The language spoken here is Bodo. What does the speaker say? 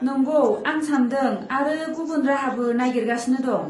नंगौ, आं सानदों आरो गुबुन राहाबो नागिरगासिनो दं।